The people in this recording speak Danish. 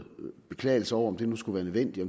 beklagelse over om det nu skulle være nødvendigt